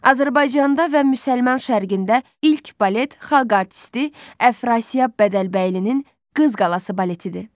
Azərbaycanda və Müsəlman Şərqində ilk balet xalq artisti Əfrasiyab Bədəlbəylinin Qız qalası baletidir.